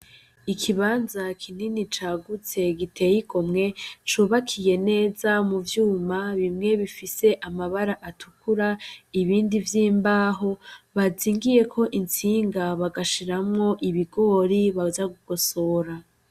Ikibanza kinini cagutse giteye igomwe cubakiye neza muvyuma bimwe bifise amabara atukura ibindi vy'imbaho bazingiyeko intsinga bagashiramwo ibigori baza kugosora.